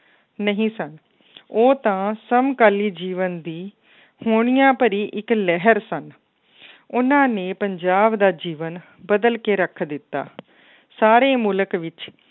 ਨਹੀਂ ਸਨ ਉਹ ਤਾਂ ਸਮਕਾਲੀ ਜੀਵਨ ਦੀ ਹੋਣੀਆਂ ਭਰੀ ਇੱਕ ਲਹਿਰ ਸਨ ਉਹਨਾਂ ਨੇ ਪੰਜਾਬ ਦਾ ਜੀਵਨ ਬਦਲ ਕੇ ਰੱਖ ਦਿੱਤਾ ਸਾਰੇ ਮੁਲਕ ਵਿੱਚ